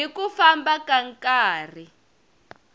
hi ku famba ka nkarhi